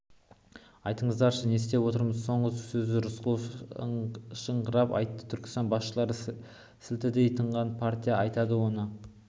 айтыңыздаршы не істеп отырмыз соңғы сөзді рысқұлов ышқыныңқырап айтты түркістан басшылары сілтідей тынған партия айтады оның